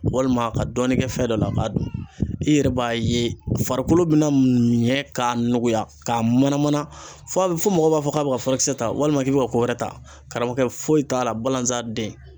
Walima ka dɔɔnin kɛ fɛn dɔ la k'a dun i yɛrɛ b'a ye farikolo bɛna miɲɛ k'a nuguya k'a mana mana f'a bɛ fɔ mɔgɔ b'a fɔ k'a bɛ ka furakisɛ ta walima k'i bɛ ka ko wɛrɛ ta karamɔgɔ foyi t'a la balanzan den.